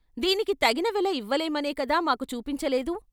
దీనికి తగిన వెల ఇవ్వ లేమనే కదా మాకు చూపించలేదు?